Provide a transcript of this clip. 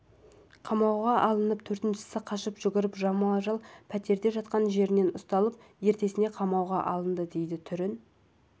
қамауға алынып төртіншісі қашып жүріп жалдамалы пәтерде жатқан жерінен ұсталып ертесіне қамауға алынды дейді түрін